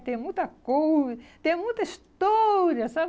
Que tem muita coisa, tem muita história, sabe?